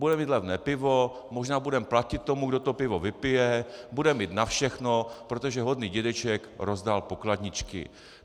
Budeme mít levné pivo, možná budeme platit tomu, kdo to pivo vypije, budeme mít na všechno, protože hodný dědeček rozdal pokladničky.